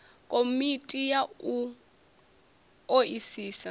komiti ya u o isisa